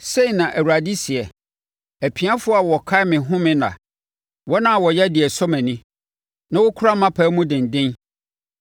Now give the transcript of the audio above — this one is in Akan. Sei na Awurade seɛ, “Apiafoɔ a wɔkae me home nna, wɔn a wɔyɛ deɛ ɛsɔ mʼani na wɔkura mʼapam mu denden,